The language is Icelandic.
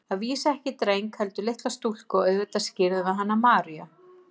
Að vísu ekki dreng, heldur litla stúlku og auðvitað skírðum við hana Maríu.